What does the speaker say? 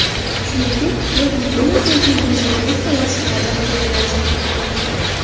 Shuningdek, qo‘l gigiyenasi uchun dezinfeksiya vositalaridan foydalanish mumkin.